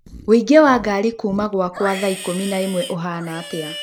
ũingĩ wa ngari kuuma gwakwa thaa ĩkumi na ĩmwe ũhana atĩa